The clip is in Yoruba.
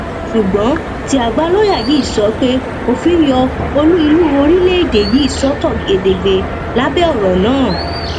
ṣùgbọn tí àgbà lọọyà yìí sọ pé òfin yọ olú ìlú orílẹèdè yìí sọtọ gedegbe lábẹ ọrọ náà